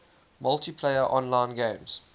multiplayer online games